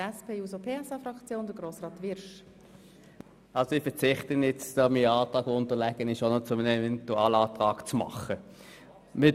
Ich verzichte darauf, meinen unterlegenen Antrag auch noch zu einem Eventualantrag zu machen. .)